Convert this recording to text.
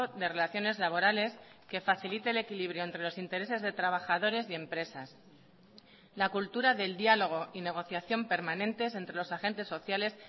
de relaciones laborales que facilite el equilibrio entre los intereses de trabajadores y empresas la cultura del diálogo y negociación permanentes entre los agentes sociales